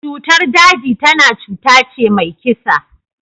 Cutar daji tana cutace mai kisa.